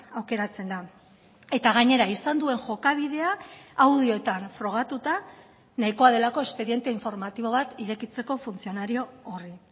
aukeratzen da eta gainera izan duen jokabidea audioetan frogatuta nahikoa delako espediente informatibo bat irekitzeko funtzionario horri